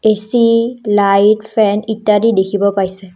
AC light fan ইত্যাদি দেখিব পাইছে।